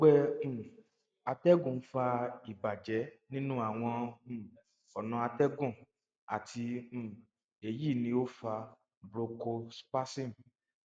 ọgbẹ um atẹgun nfa ibajẹ ninu awọn um ọna atẹgun ati um eyi ni o fa bronchospasm